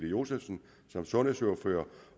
josefsen som sundhedsordfører